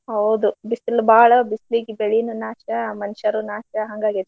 ಹೌದು ಬಿಸ್ಲ್ ಬಾಳ ಬಿಸ್ಲಿಗ್ ಬೆಳೀನು ನಾಶಾ ಮನ್ಶಾರೂ ನಾಶಾ ಹಂಗಾಗೇತಿ.